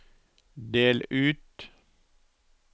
del ut